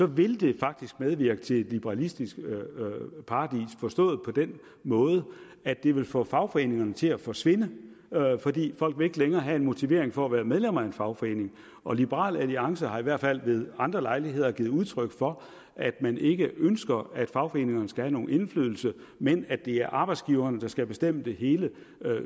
vil det faktisk medvirke til et liberalistisk paradis forstået på den måde at det vil få fagforeningerne til at forsvinde fordi folk ikke længere vil have en motivation for at være medlem af en fagforening og liberal alliance har i hvert fald ved andre lejligheder givet udtryk for at man ikke ønsker at fagforeningerne skal have nogen indflydelse men at det er arbejdsgiverne der skal bestemme det hele